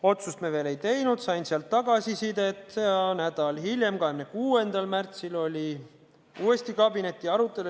Otsust me veel ei teinud, ma sain sealt tagasisidet ja nädal hiljem, 26. märtsil oli uuesti kabinetiarutelu.